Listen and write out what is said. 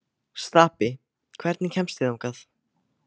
Stapi, hvernig kemst ég þangað?